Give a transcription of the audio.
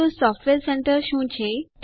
Ubuntu software centre શું છે